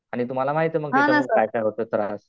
आणि तुम्हाला माहित आहे मग त्याच्यामुळे काय काय होतो त्रास.